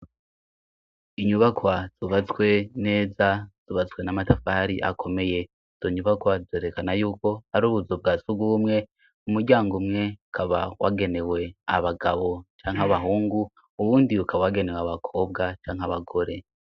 Inyubakwa subazswe neza zubazswe n'amatafahri akomeye donyubakwa zerekana yuko ari ubuzu bwa sugumwe umuryango umwe kaba wagenewe abagabo canke abahungu uwundi yukawagenewe abakobwa canke abagore.